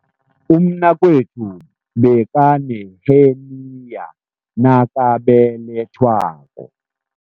Umnakwethu bekaneheniya nakabelethwako.